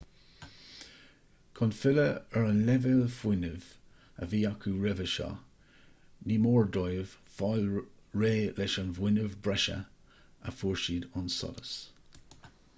chun filleadh ar an leibhéal fuinnimh a bhí acu roimhe seo ní mór dóibh fáil réidh leis an bhfuinneamh breise a fuair siad ón solas